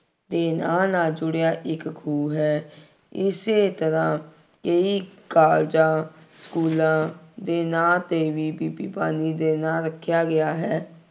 ਦੇ ਨਾਂ ਨਾਲ ਜੁੜਿਆ ਇੱਕ ਖੂਹ ਹੈ। ਇਸੇ ਤਰ੍ਹਾ ਕਈ ਕਾਲਜਾਂ, ਸਕੂਲਾਂ ਦੇ ਨਾਂ ਤੇ ਵੀ ਬੀਬੀ ਭਾਨੀ ਦੇ ਨਾਂ ਰੱਖਿਆ ਗਿਆ ਹੈ।